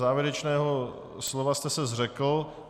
Závěrečného slova jste se zřekl.